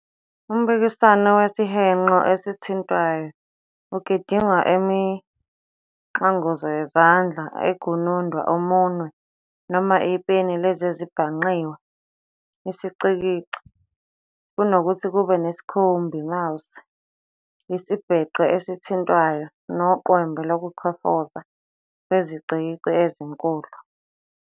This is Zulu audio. Umbukiswano wesihenqo esithintwayo ugidingwa emiqanguzo yezandla egunundwa umunwe noma ipeni lezezibhangqiwe, isicikici, kunokuthi kube nesikhombi "mouse", isibheqe esithintwayo, noqwembe lokuchofoza lwezicikizi ezinkulu.